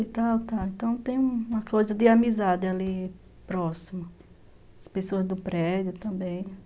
Então tem uma coisa de amizade ali próximo, as pessoas do prédio também.